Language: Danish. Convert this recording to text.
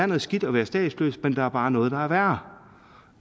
noget skidt at være statsløs men der er bare noget der er værre